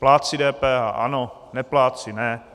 Plátci DPH - ano, neplátci - ne.